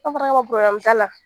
Aw fana k'a ma t'a la